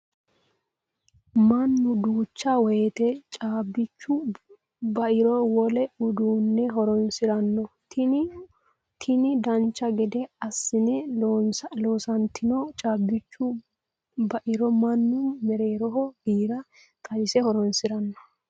Mannu duucha woyiite caabbichu bairo wole uduunne horonsiranno. Tini dancha gede assine loonsoyiitino caabbichu bairo mannu mereeroho giira xawise horonsiranno.